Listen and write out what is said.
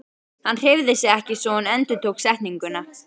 Hann hreyfði sig ekki svo hún endurtók setninguna.